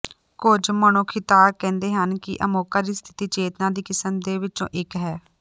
ਕੁਝ ਮਨੋਖਿਖਤਾਕਾਰ ਕਹਿੰਦੇ ਹਨ ਕਿ ਅਮੋਕਾ ਦੀ ਸਥਿਤੀ ਚੇਤਨਾ ਦੀ ਕਿਸਮ ਦੇ ਵਿੱਚੋਂ ਇੱਕ ਹੈ